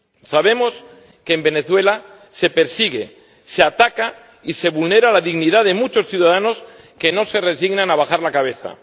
Sabemos que en Venezuela se persigue, se ataca y se vulnera la dignidad de muchos ciudadanos que no se resignan a bajar la cabeza.